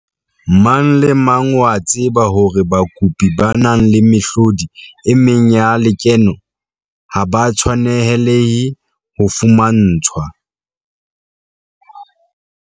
Mang le mang o a tseba hore bakopi ba nang le mehlodi e meng ya lekeno ha ba tshwanelehe ho fumantshwa